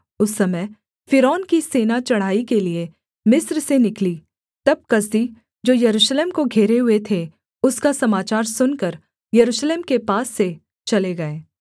उस समय फ़िरौन की सेना चढ़ाई के लिये मिस्र से निकली तब कसदी जो यरूशलेम को घेरे हुए थे उसका समाचार सुनकर यरूशलेम के पास से चले गए